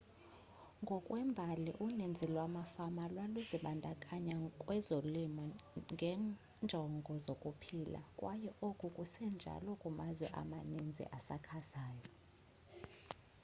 ngokwembali uninzi lwamafama lwaluzibandakanya kwezolimo ngenjongo zokuphila kwaye oku kusenjalo kumazwe amaninzi asakhasayo